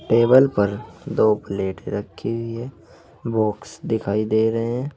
Table पर दो plate रखी हुई है बॉक्स दिखाई दे रहे हैं।